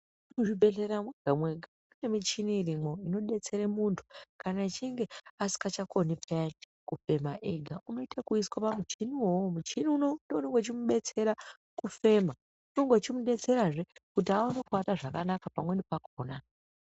Muchibhedhlera mega mega mune michina irimo inobetsera muntu kana achinge asichakoni kufema ega unoite wekuiswe pamuchini iwowo michini uchitomubetsera kufema unege weimubetsera hee kuti awone kurara zvakanaka pamweni pakona.